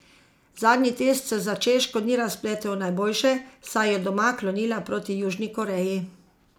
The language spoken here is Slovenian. Zadnji test se za Češko ni razpletel najboljše, saj je doma klonila proti Južni Koreji.